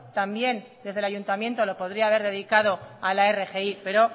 también desde el ayuntamiento lo podría haber dedicado a la rgi pero